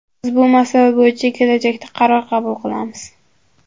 Biz bu masala bo‘yicha kelajakda qaror qabul qilamiz”.